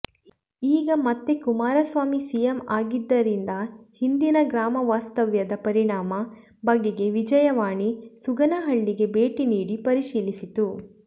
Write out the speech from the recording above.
ಈಗ ಮತ್ತೆ ಕುಮಾರಸ್ವಾಮಿ ಸಿಎಂ ಆಗಿದ್ದರಿಂದ ಹಿಂದಿನ ಗ್ರಾಮ ವಾಸ್ತವ್ಯದ ಪರಿಣಾಮ ಬಗೆಗೆ ವಿಜಯವಾಣಿ ಸುಗನಹಳ್ಳಿಗೆ ಭೇಟಿ ನೀಡಿ ಪರಿಶೀಲಿಸಿತು